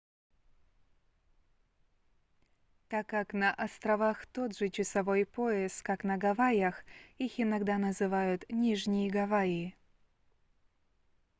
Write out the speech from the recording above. так как на островах тот же часовой пояс как на гавайях их иногда называют нижние гавайи